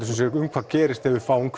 hvað gerist ef við fáum